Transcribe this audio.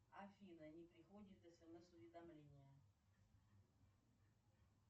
афина не приходят смс уведомления